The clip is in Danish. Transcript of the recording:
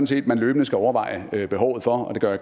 set man løbende skal overveje behovet for og det gør